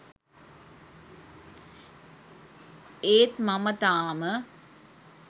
ඒත් මම තාම